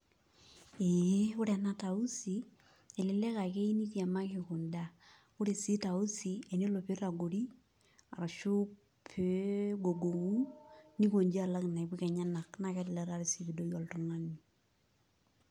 Ee ore ena tausi elelek na keyieu nitiamaki kunda, ore si tausi tenelo nitagori ashu pegogonu nikonji alak inaipuka enyenak nakelelek sii ipidoki oltungani.